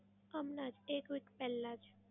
હમણાં જ એક week પહેલાં જ.